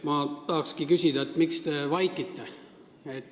Ma tahakski küsida, miks te vaikite.